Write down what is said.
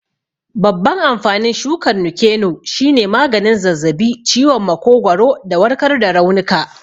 Babban amfanin shukar Nuke-noh shine maganin zazzabi, ciwon makogwaro, da warkar da raunuka.